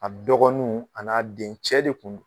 A dɔgɔnunw a n'a den cɛ de kun